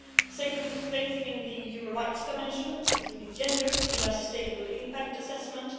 second, the strengthening of the human rights dimension, including gender, in our sustainable impact assessment